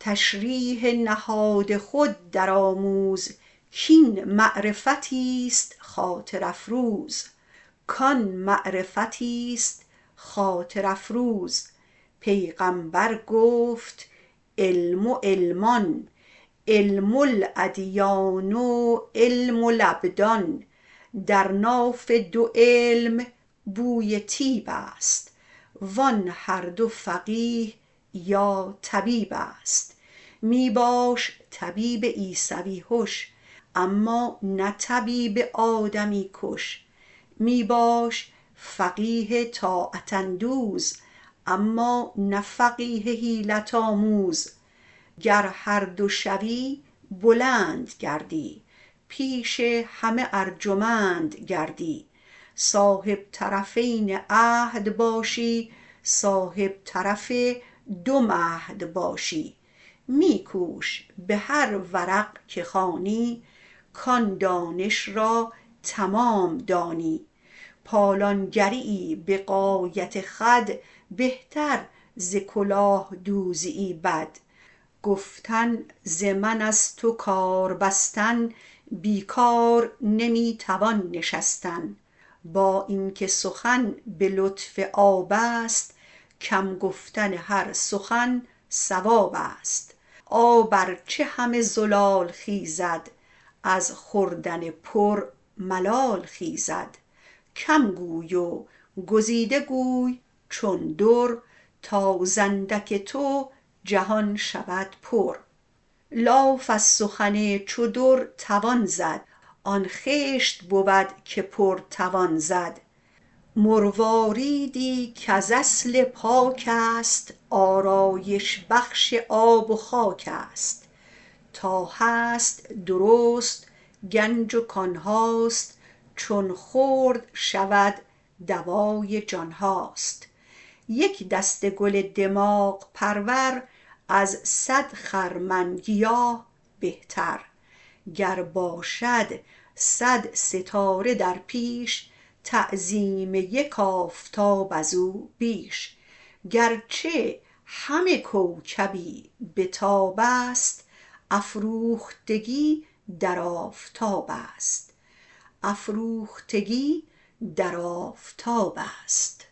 تشریح نهاد خود درآموز کاین معرفتی است خاطر افروز پیغمبر گفت علم علمان علم الادیان و علم الابدان در ناف دو علم بوی طیب است وان هر دو فقیه یا طبیب است می باش طبیب عیسوی هش اما نه طبیب آدمی کش می باش فقیه طاعت اندوز اما نه فقیه حیلت آموز گر هر دو شوی بلند گردی پیش همه ارجمند گردی صاحب طرفین عهد باشی صاحب طرف دو مهد باشی می کوش به هر ورق که خوانی کان دانش را تمام دانی پالان گری یی به غایت خود بهتر ز کلاه دوزی بد گفتن ز من از تو کار بستن بیکار نمی توان نشستن با این که سخن به لطف آب است کم گفتن هر سخن صواب است آب ار چه همه زلال خیزد از خوردن پر ملال خیزد کم گوی و گزیده گوی چون در تا ز اندک تو جهان شود پر لاف از سخن چو در توان زد آن خشت بود که پر توان زد مرواریدی کز اصل پاک است آرایش بخش آب و خاک است تا هست درست گنج و کان هاست چون خرد شود دوای جان هاست یک دسته گل دماغ پرور از صد خرمن گیاه بهتر گر باشد صد ستاره در پیش تعظیم یک آفتاب ازو بیش گرچه همه کوکبی بتاب است افروختگی در آفتاب است